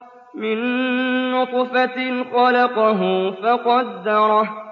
مِن نُّطْفَةٍ خَلَقَهُ فَقَدَّرَهُ